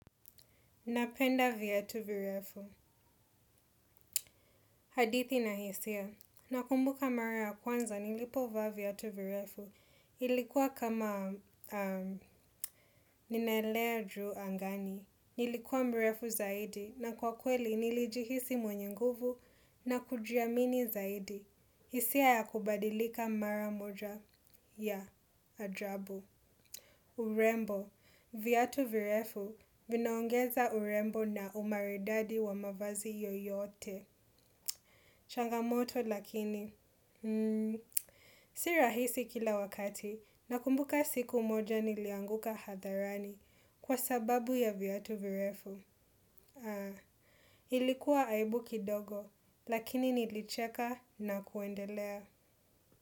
Napenda viatu virefu. Hadithi na hisia. Nakumbuka mara ya kwanza nilipovaa viatu virefu. Ilikuwa kama ninaelea juu angani. Nilikuwa mrefu zaidi na kwa kweli nilijihisi mwenye nguvu na kujiamini zaidi. Hisia ya kubadilika mara moja. Ya ajabu. Urembo, viatu virefu vinaongeza urembo na umaridadi wa mavazi yoyote. Changamoto lakini, si rahisi kila wakati, nakumbuka siku moja nilianguka hadharani kwa sababu ya viatu virefu. Ilikuwa aibu kidogo lakini nilicheka na kuendelea.